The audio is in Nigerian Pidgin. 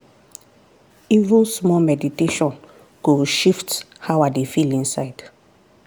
even small meditation go shift how i dey feel inside.